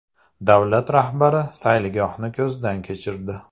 Davlat rahbarlari sayilgohni ko‘zdan kechirdi.